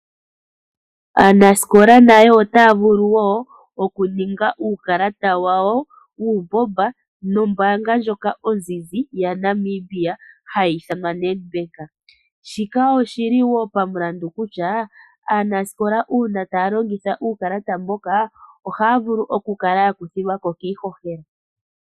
Aanasikola nayo otaya vulu okuninga uukalata nombaanga ndjoka onzizi yaNamibia hayi ithanwa Nedbank. Shika oshili wo omulandi kutya aanasikola uuna taya longitha uukalata mbuka ohaya kuthilwako kiihohela.